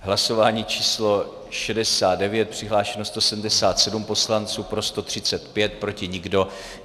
Hlasování číslo 69, přihlášeno 177 poslanců, pro 135, proti nikdo.